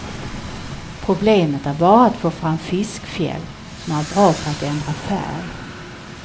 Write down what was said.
Problemet är bara att få fram fiskfjäll som är bra på att ändra färg.